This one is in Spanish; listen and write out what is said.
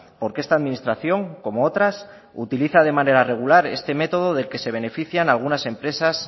porque esta administración como otras utiliza de manera regular este método del que se benefician algunas empresas